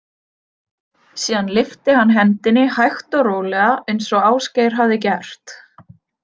Síðan lyfti hann hendinni hægt og rólega eins og Ásgeir hafði gert.